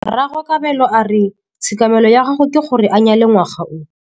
Rragwe Kabelo a re tshekamêlô ya gagwe ke gore a nyale ngwaga o.